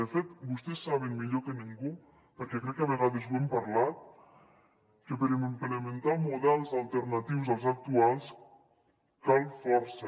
de fet vostès saben millor que ningú perquè crec que a vegades ho hem parlat que per implementar models alternatius als actuals cal força